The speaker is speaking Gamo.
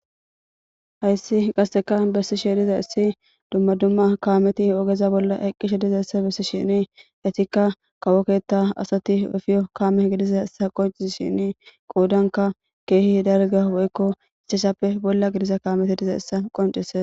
Hayssi qasseka bessi sheediza issi dumma dumma kaameti ogeza bolla eqqishe dizaessa bessi shini etikka kawoketta asati ofiyo kaame gidiza essa qoncis shini qoudanka keehi darga woykko isceshappe bolla gidiza kaameti diza essa qoncise.